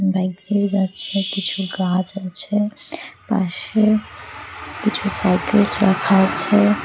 Bike নিয়ে যাচ্ছে কিছু গাছ আছে পাশে কিছু সাইকেলস রাখা আছে।